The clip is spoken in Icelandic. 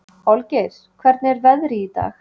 Olgeir, hvernig er veðrið í dag?